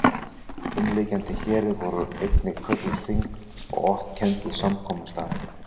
Umliggjandi héruð voru einnig kölluð þing og oft kennd við samkomustaðinn